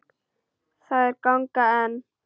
Þær ganga enn.